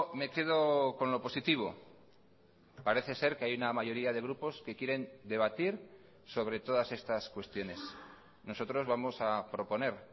me quedo con lo positivo parece ser que hay una mayoría de grupos que quieren debatir sobre todas estas cuestiones nosotros vamos a proponer